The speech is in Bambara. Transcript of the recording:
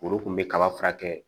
Foro kun be kaba furakɛ